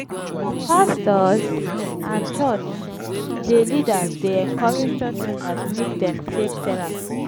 some pastors and church dey leaders dey encourage church members make dem take therapy.